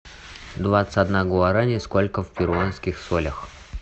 двадцать одна гуарани сколько в перуанских солях